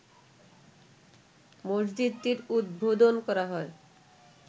মসজিদটির উদ্বোধন করা হয়